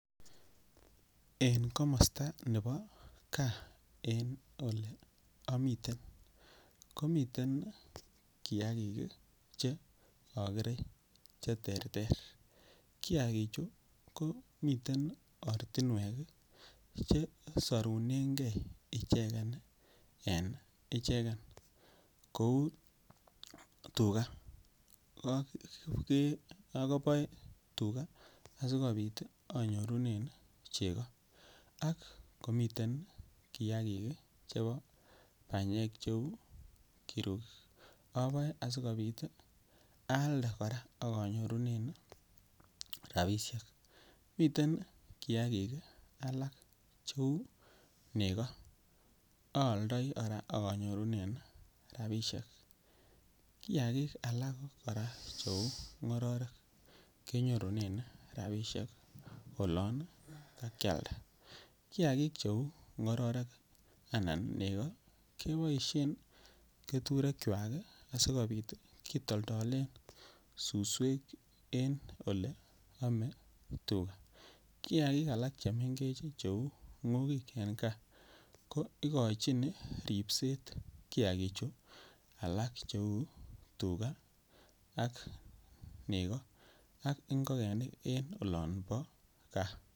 En komosta ne bo gaa en Ole amiten komiten kiagik Che agere Che terter kiagichu ko miten ortinwek Che sorunengei ichegen en ichegen kou tuga aboe tuga asikobit anyorune chego ako miten kiagik Che bo banyek cheu kirugik aboe asikobit aalde kora akonyorunen rabisiek miten kiagik alak cheu nego aaldoi kora ak anyorune rabisiek miten kora kiagik alak Cheu ngororek Ke nyorunen rabisiek olon kakialda kiagik cheu ngororek anan ko nego keboisien keturekwak kitolden suswek en Ole Tam koame tuga kiagik alak Cheu ngogik en gaa ko igochin ripset kiagichu alak cheu tugaa ak nego ak ngokenik en olon bo gaa